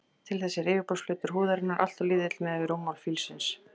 Til þess er yfirborðsflötur húðarinnar alltof lítill miðað við rúmmál fílsins.